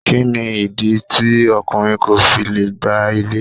Kí ni ìdí tí ọkùnrin ko fi lè gbá ilé.